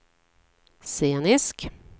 scenisk